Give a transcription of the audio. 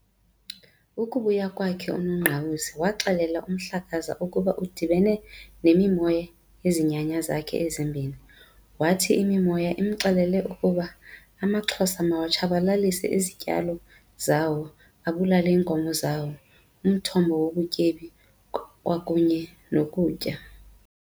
Ukubuya kwakhe uNongqawuse waxelela uMhlakaza ukuba udibene nemimoya yezinyanya zakhe emibini. Wathi imimoya imxelele ukuba amaXhosa mawatshabalalise izityalo zawo abulale iinkomo zawo, umthombo wobutyebi kwakunye nokutya.